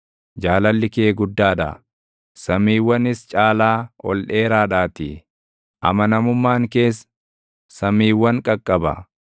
Jaalalli kee guddaa dha; samiiwwanis caalaa ol dheeraadhaatii; amanamummaan kees samiiwwan qaqqaba.